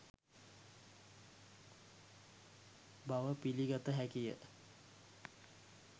බව පිළිගත හැකිය